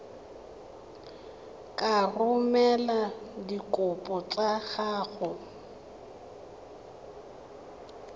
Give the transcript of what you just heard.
ka romela dikopo tsa gago